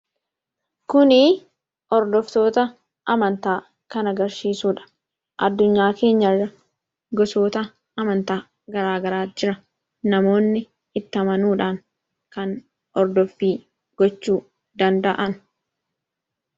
kuni hordoftoota amantaa kana agarsiisuudha. Addunyaa keenyarra gosoota amantaa garaagaraatu jira. Namoonni itti amanuudhaan kan hordoffii gochuu danda'an.